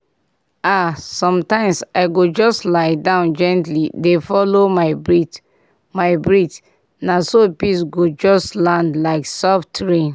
ah sometimes i go just lie down gently dey follow my breath my breath na so peace go just land like soft rain.